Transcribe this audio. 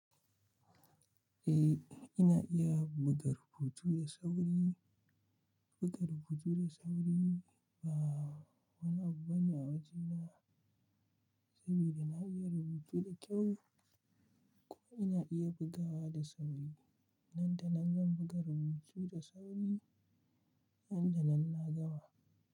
Eh, ina iya buɗe rubutu da sauri, buga rubutu da sauri. Ba wani abu bane a wajena saboda na iya rubutu da kyau ko ina iya bugawa da sauri. Nan da nan zan buga rubutu da sauri, nan da nan na gama.